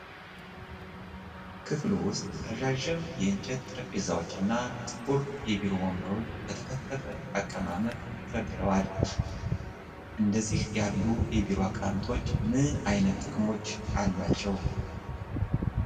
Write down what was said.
ክፍሉ ውስጥ ረዣዥም የእንጨት ጠረጴዛዎች እና ጥቁር የቢሮ ወንበሮች በተከፈተ አቀማመጥ ተደርድረዋል። እንደዚህ ያሉ የቢሮ አቀማመጦች ምን ዓይነት ጥቅሞች አሏቸው?